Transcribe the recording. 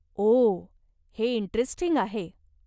ओह, हे इंटरेस्टिंग आहे.